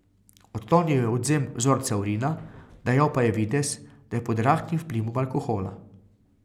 Odklonil je odvzem vzorca urina, dajal pa je videz, da je pod rahlim vplivom alkohola.